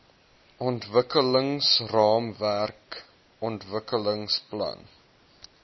ontwikkelingsraamwerk ontwikkelings plan